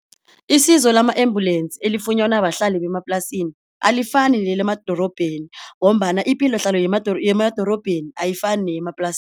Isizo lama embulensi elifunyanwa bahlali bemaplasini alifani nelemadorobheni ngombana ipilohlalo yemadorobheni ayifani